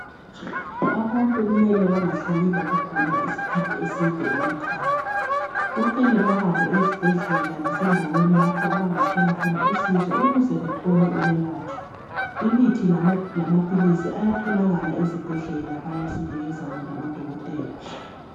Abantu kumele bengahlali lokugula isikhathi eside emakhaya kumele bahambe ezibhedlela lasendaweni lapho abangathola khona usizo ukuze bathole ukwelatshwa imithi lamaphilisi ayatholakala ezibhedlela bayasinikeza wona odokotela.